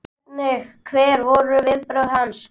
Hvernig, hver voru viðbrögð hans?